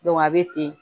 a bɛ ten